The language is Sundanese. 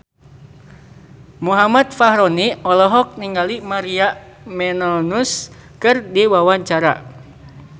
Muhammad Fachroni olohok ningali Maria Menounos keur diwawancara